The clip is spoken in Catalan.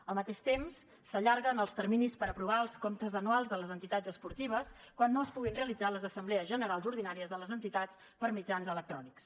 al mateix temps s’allarguen els terminis per aprovar els comptes anuals de les entitats esportives quan no es puguin realitzar les assemblees generals ordinàries de les entitats per mitjans electrònics